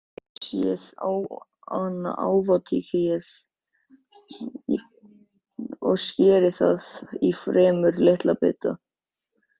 Flysjið avókadóið og skerið það í fremur litla bita.